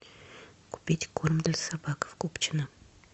купить корм для собак в купчино